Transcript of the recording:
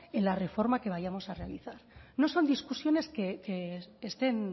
en la reforma que vayamos a realizar no son discusiones que estén